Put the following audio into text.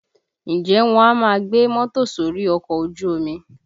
Ǹjẹ́ wọn a máa gbé mọ́tò sórí ọkọ̀ ojú omi?